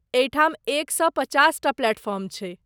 एहिठाम एक सए पचास टा प्लेटफॉर्म छै।